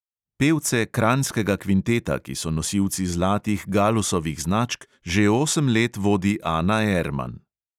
Pevce kranjskega kvinteta, ki so nosilci zlatih galusovih značk, že osem let vodi ana erman.